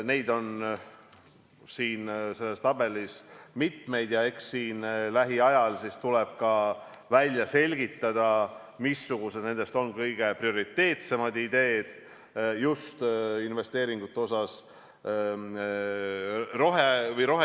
Neid on selles tabelis mitmeid ja eks lähiajal tuleb välja selgitada, missugused nendest on kõige prioriteetsemad ideed just roheinvesteeringute mõttes.